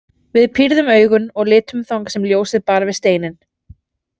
Við pírðum augun og litum þangað sem ljósið bar við steininn.